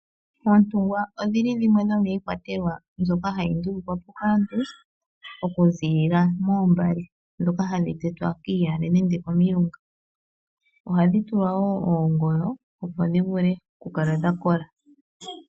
Oontungwa odho dhimwe dhomiikwatelwa mbyoka hayi ndulukwa po kaantu oku ziilila moombale ndhoka hadhi tetwa kiiyale nenge komilunga. Ohadhi tulwa woo oongoyo opo dhi vule oku kala dha kola.